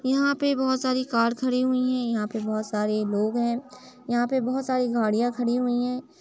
यहां पे बोहोत सारी कार खड़ी हुई है। यहाँ पे बोहोत सारे लोग हैं। यहाँ पे बोहोत सारी गाड़ियां खड़ी हुई हैं।